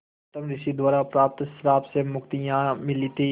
गौतम ऋषि द्वारा प्राप्त श्राप से मुक्ति यहाँ मिली थी